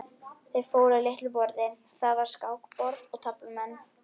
Þeir fóru að litlu borði, þar var skákborð og taflmenn.